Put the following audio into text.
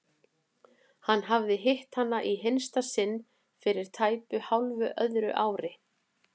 Hann hafði hitt hana í hinsta sinn fyrir tæpu hálfu öðru ári.